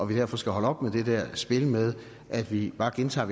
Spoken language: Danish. vi derfor skal holde op med det spil med at vi bare gentager